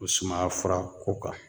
O sumaya fura ko kan